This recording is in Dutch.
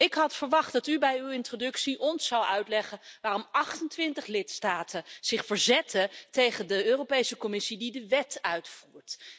Ik had verwacht dat u bij uw introductie ons zou uitleggen waarom 28 lidstaten zich verzetten tegen de Europese Commissie die de wet uitvoert.